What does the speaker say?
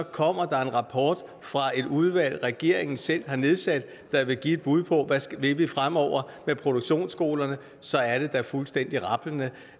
kommer der en rapport fra et udvalg regeringen selv har nedsat der vil give et bud på hvad vi vil fremover med produktionsskolerne og så er det da fuldstændig rablende